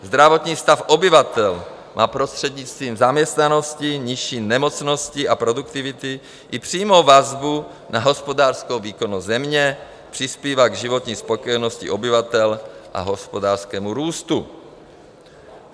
Zdravotní stav obyvatel má prostřednictvím zaměstnanosti, nižší nemocnosti a produktivity i přímou vazbu na hospodářskou výkonnost země, přispívá k životní spokojenosti obyvatel a hospodářskému růstu.